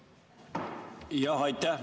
Aitäh!